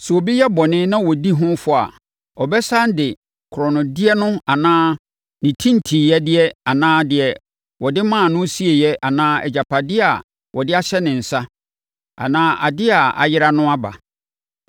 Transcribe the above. sɛ obi yɛ bɔne na ɔdi ho fɔ a, ɔbɛsane de ne korɔnodeɛ no anaa ne tintinnyɛdeɛ anaa deɛ wɔde maa no sieeɛ anaa agyapadeɛ a wɔde ahyɛ ne nsa, anaa adeɛ a ayera no aba.